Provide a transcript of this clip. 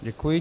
Děkuji.